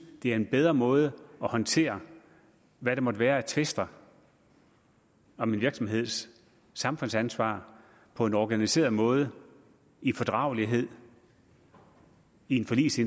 det er en bedre måde at håndtere hvad der måtte være af tvister om en virksomheds samfundsansvar på en organiseret måde i fordragelighed i en forligs